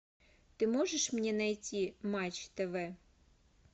ты можешь мне найти матч тв